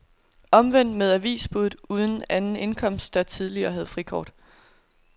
Omvendt med avisbudet uden anden indkomst, der tidligere havde frikort.